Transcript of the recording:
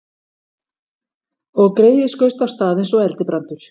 Og greyið skaust af stað eins og eldibrandur.